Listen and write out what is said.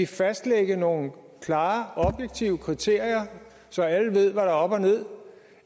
fastlægge nogle klare objektive kriterier så alle ved hvad der er op og ned